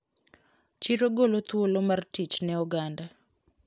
Chiro golo thuolo mar tich ne oganda.